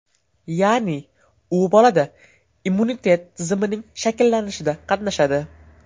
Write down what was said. Ya’ni, u bolada immunitet tizimining shakllanishida qatnashadi.